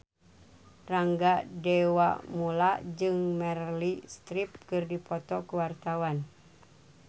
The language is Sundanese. Rangga Dewamoela jeung Meryl Streep keur dipoto ku wartawan